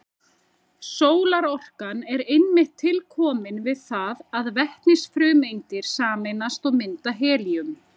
Sólarorkan er einmitt tilkomin við það að vetnisfrumeindir sameinast og mynda helíum.